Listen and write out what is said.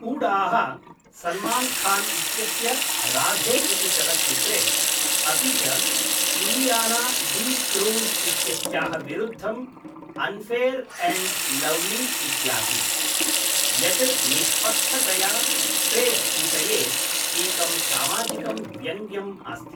हूडाः सल्मान्खान् इत्यस्य राधे इति चलच्चित्रे, अपि च इलियाना डी 'क्रूज् इत्यस्याः विरुद्धम् अन्फेयर् एण्ड् लव्ली इत्यासीत्, यत् निष्पक्षतया फेड् विषये एकं सामाजिकं व्यङ्ग्यम् अस्ति।